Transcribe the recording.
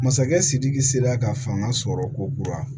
Masakɛ sidiki sera ka fanga sɔrɔ ko kura